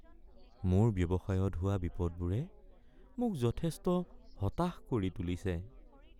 মোৰ ব্যৱসায়ত হোৱা বিপদবোৰে মোক যথেষ্ট হতাশ কৰি তুলিছে।